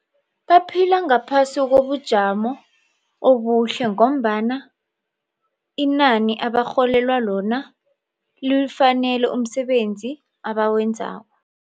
Baphila ngaphasi kobujamo obuhle ngombana inani abarholelwa lona liwufanele umsebenzi abawenzako.